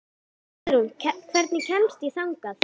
Guðrún, hvernig kemst ég þangað?